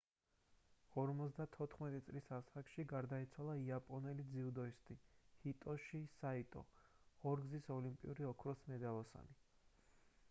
54 წლის ასაკში გარდაიცვალა იაპონელი ძიუდოისტი ჰიტოში საიტო ორგზის ოლიმპიური ოქროს მედალოსანი